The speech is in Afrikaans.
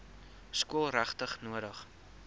skool regtig nodig